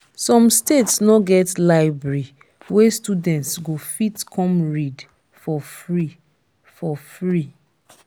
some states no get library wey students go fit come read for free for free